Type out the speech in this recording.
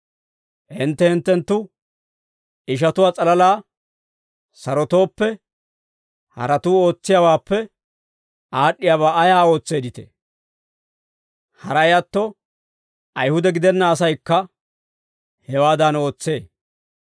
Hintte hinttenttu ishatuwaa s'alalaa sarotooppe, haratuu ootsiyaawaappe aad'd'iyaabaa ayaa ootseeditee? Haray atto, Ayihude gidenna asaykka hewaadan ootsee.